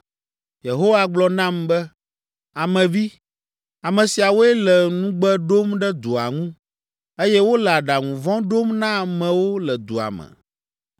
Yehowa gblɔ nam be, “Ame vi, ame siawoe le nugbe ɖom ɖe dua ŋu, eye wole aɖaŋu vɔ̃ ɖom na amewo le dua me.